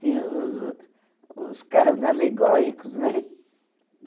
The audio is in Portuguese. Tinha os os os carros alegóricos, né?